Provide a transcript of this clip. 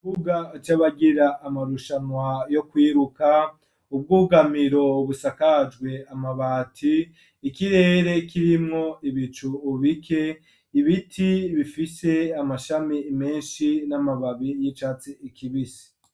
Buga aco abagira amarushanwa yo kwiruka ubwugamiro busakajwe amabati ikirere kirimwo ibicu ubike ibiti bifise amashami menshi n'amababi y'icatse ikibisi.